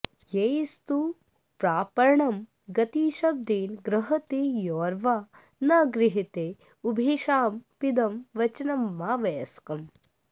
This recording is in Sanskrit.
यैस्तु प्रापणं गतिशब्देन गृह्रते यौर्वा न गृह्रते उभयेषामपीदं वचनमावस्यकम्